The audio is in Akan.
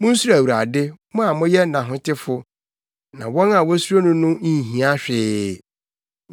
Munsuro Awurade, mo a moyɛ nʼahotefo, na wɔn a wosuro no no nhia hwee.